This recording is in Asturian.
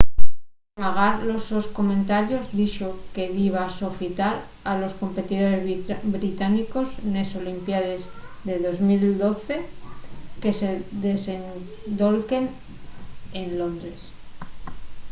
magar los sos comentarios dixo que diba sofitar a los competidores británicos nes olimpiaes de 2012 que se desendolquen en londres